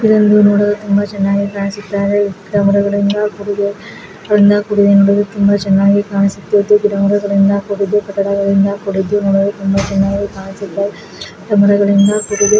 ಇದೊಂದು ನೋಡಲು ತುಂಬಾ ಚೆನ್ನಾಗಿ ಕಾಣಿಸುತ್ತಾ ಇದೆ. ಸುತ್ತ ಮರಗಳಿಂದ ಕೂಡಿದೆ ನೋಡಲು ತುಂಬಾ ಚೆನ್ನಾಗಿ ಕಾಣಿಸುತ್ತಾ ಇದೆ. ಗಿಡ ಮರಗಳಿಂದ ಕೂಡಿದೆ.